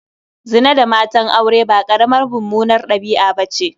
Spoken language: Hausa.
Zina da matan aure ba ƙaramar mummunar ɗabi'a ba ce.